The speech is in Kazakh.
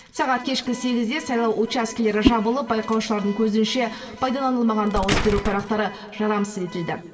сағат кешкі сегізде сайлау учаскелері жабылып байқаушылардың көзінше пайдаланылмаған дауыс беру парақтары жарамсыз етілді